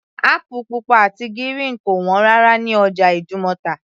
Apple pupa àti gírìn kò wọ́n rárá ní ọjà ìdúmọ̀tà